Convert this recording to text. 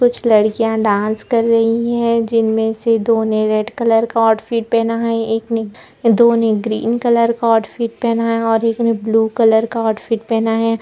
कुछ लड़कियाँ डांस कर रही हैं जिनमें से दो ने रेड कलर का आउटफिट पेहना है एक ने दो ने ग्रीन कलर का आउटफिट पेहना है और एक ने ब्लू कलर का आउटफिट पेहना है।